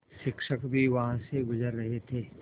शिक्षक भी वहाँ से गुज़र रहे थे